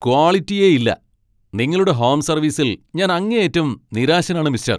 ക്വാളിറ്റിയേയില്ല. നിങ്ങളുടെ ഹോം സർവീസിൽ ഞാൻ അങ്ങേയറ്റം നിരാശനാണ് മിസ്റ്റർ.